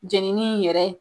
Jenini in yɛrɛ